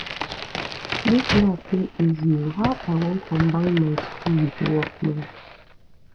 dis life no easy o how i wan combine my school with work now